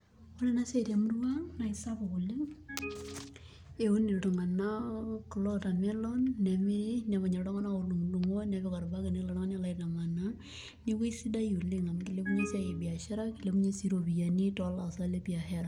Ore ena siai temurua ang' naa sapuk oleng' amu keuni watermelon